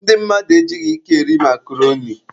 Ndị mmadụ ejighị ike eri makroni.